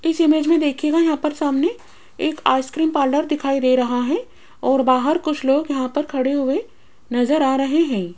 इस इमेज में देखिएगा यहां पर सामने एक आइसक्रीम पार्लर दिखाई दे रहा है और बाहर कुछ लोग यहां पर खड़े हुए नजर आ रहे हैं।